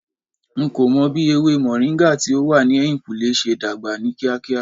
N ko mo bi ewe moringa ti o wa ni ehinkunle se dagba ni kiakia